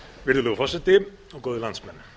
virðulegur forseti góðir landsmenn